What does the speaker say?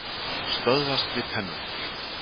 Stöðvast við tennurnar.